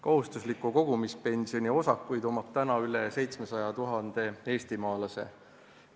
Kohustusliku kogumispensioni osakud on olemas rohkem kui 700 000 eestimaalasel.